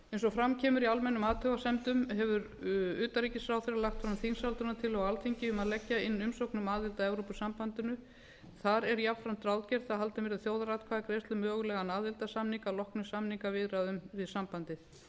eins og fram kemur í almennum athugasemdum hefur utanríkisráðherra lagt fram þingsályktunartillögu á alþingi um að leggja inn aðild að evrópusambandinu þar er jafnframt ráðgert að haldin verði þjóðaratkvæðagreiðsla um mögulegan aðildarsamning að loknum samningaviðræðum við sambandið